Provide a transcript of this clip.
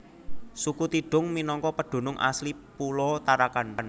Suku Tidung minangka pedunung asli pulo Tarakan